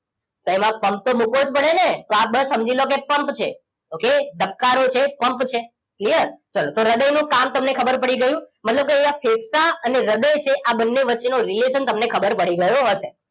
તો એમાં પમ્પ તો મુક્વોજ પડે ને આ બસ સમજીલો કેપમ્પ છે ઓકે ધબક્કારો છે એ પમ્પ છે ક્લિયર? ચલો હ્રદય નું કામ તમને ખબર પડી ગયું મતલબ કે અહિયાં ફેફસા અને હ્રદય છે આ બને વચ્ચે નો રિલેશન તમને ખબર પડી ગયો હશે